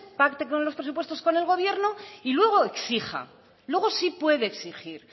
pacten los presupuestos con el gobierno y luego exija luego sí puede exigir